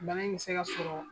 Bana in bɛ se ka sɔrɔ